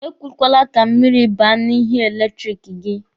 Ekwekwala ka mmiri baa n'ihe eletiriki gị.